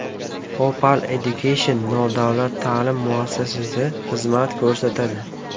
Opal Education nodavlat ta’lim muassasasi xizmat ko‘rsatadi.